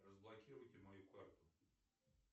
разблокируйте мою карту